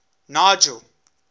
nigel